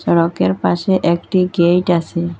সড়কের পাশে একটি গেইট আসে ।